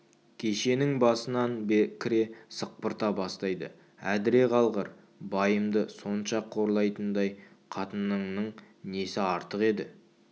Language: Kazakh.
кешенің басынан кіре сықпырта бастайды әдіре қалғыр байымды сонша қорлайтындай қатыныңның несі артық еді